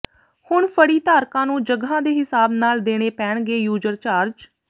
ਹੁਣ ਫੜੀ ਧਾਰਕਾਂ ਨੂੰ ਜਗ੍ਹਾ ਦੇ ਹਿਸਾਬ ਨਾਲ ਦੇਣੇ ਪੈਣਗੇ ਯੂਜਰ ਚਾਰਜ